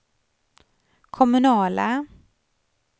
kommunala